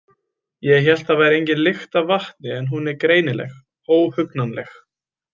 Ég hélt það væri engin lykt af vatni en hún er greinileg, óhugnanleg.